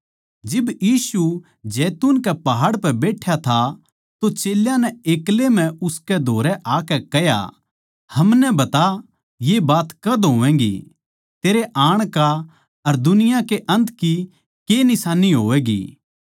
जिब यीशु जैतून कै पहाड़ पै बैठ्या था तो चेल्यां नै एक्लै म्ह उसकै धोरै आकै कह्या हमनै बता ये बात कद होवैगीं तेरै आण का अर दुनिया कै अन्त की के निशान्नी होवैगी